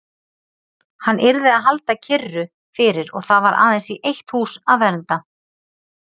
Hann yrði að halda kyrru fyrir og það var aðeins í eitt hús að venda.